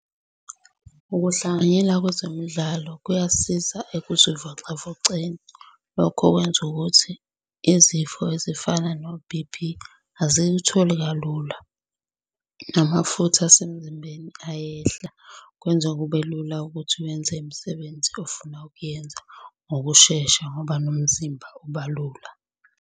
Ukuhlanganyela kwezemidlalo kuyasiza ekuzivocavoceni. Lokho kwenza ukuthi izifo ezifana no-B_P azikutholi kalula. Namafutha asemzimbeni ayehla, kwenza kube lula ukuthi wenze imisebenzi ofuna ukuyenza ngokushesha ngoba nomzimba ubalula.